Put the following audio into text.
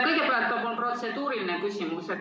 Kõigepealt on mul protseduuriline küsimus.